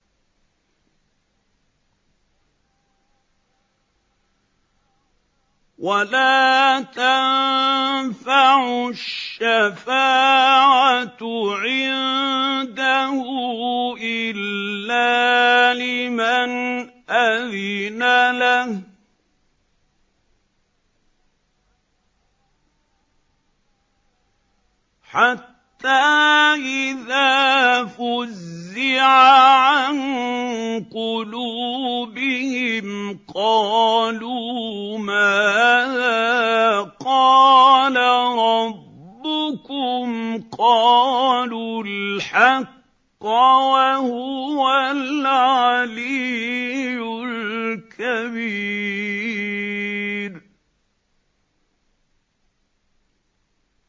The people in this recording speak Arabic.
وَلَا تَنفَعُ الشَّفَاعَةُ عِندَهُ إِلَّا لِمَنْ أَذِنَ لَهُ ۚ حَتَّىٰ إِذَا فُزِّعَ عَن قُلُوبِهِمْ قَالُوا مَاذَا قَالَ رَبُّكُمْ ۖ قَالُوا الْحَقَّ ۖ وَهُوَ الْعَلِيُّ الْكَبِيرُ